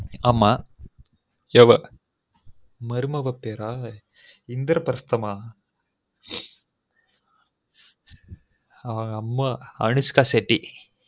ஆமா ஹ்ஹ் மருமக பேரா இந்த்ரப்ர்ஸ்தமா அவுங்க அம்மா அனுஷ்காஷெட்டி